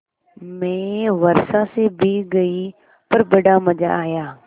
मैं वर्षा से भीग गई पर बड़ा मज़ा आया